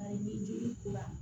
Ayi jeli kura